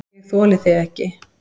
ÉG ÞOLI ÞIG EKKI!